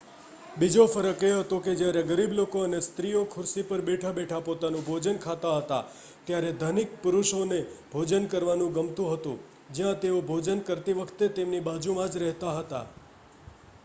બીજો ફરક એ હતો કે જ્યારે ગરીબ લોકો અને સ્ત્રી ઓ ખુરશીપર બેઠા બેઠા પોતાનું ભોજન ખાતા હતા ત્યારે ધનિક પુરુષોને ભોજન કરવાનું ગમતું હતું જ્યાં તેઓ ભોજન કરતી વખતે તેમની બાજુમાં જરહેતા હતા